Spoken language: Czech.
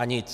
A nic.